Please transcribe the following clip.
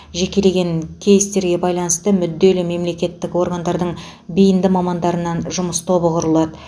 жекелеген кейстерге байланысты мүдделі мемлекеттік органдардың бейінді мамандарынан жұмыс тобы құрылады